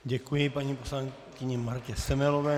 Děkuji paní poslankyni Martě Semelové.